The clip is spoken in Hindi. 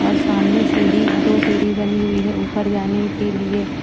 और सामने सीढ़ी दो सीढ़ी बनी हुई है ऊपर जाने के लिए--